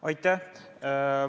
Aitäh!